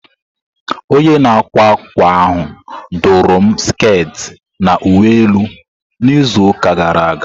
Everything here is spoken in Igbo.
Onye na-akwa akwa ahụ dụru m sket na uwe elu na izu ụka gara aga.